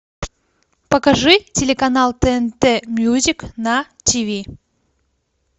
покажи телеканал тнт мьюзик на тв